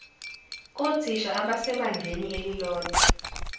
kothisha abasebangeni elilodwa